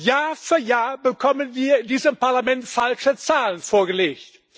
Jahr für Jahr bekommen wir in diesem Parlament falsche Zahlen vorgelegt.